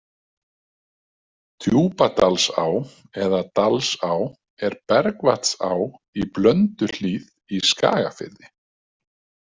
Djúpadalsá eða Dalsá er bergvatnsá í Blönduhlíð í Skagafirði.